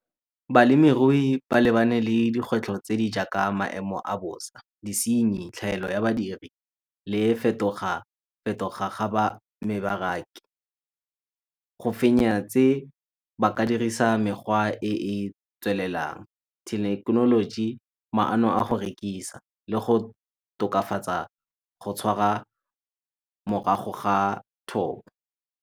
Balemirui ba lebane le dikgwetlho tse di jaaka maemo a bosa, disinyi, tlhaelo ya badiri le fetoga-fetoga ga . Go fenya tse ba ka dirisa mekgwa e e tswelelang, thekenoloji, maano a go rekisa le go tokafatsa go tshwara morago ga thobo.